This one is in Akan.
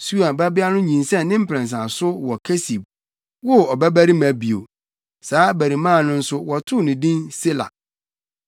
Sua babea no nyinsɛn ne mprɛnsa so wɔ Kesib, woo ɔbabarima bio. Saa abarimaa no nso wɔtoo no din Sela.